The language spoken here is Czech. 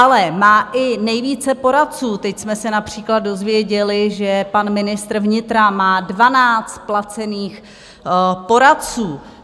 Ale má i nejvíce poradců - teď jsme se například dozvěděli, že pan ministr vnitra má 12 placených poradců.